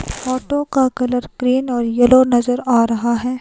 Photo का colour green और yellow नजर आ रहा है।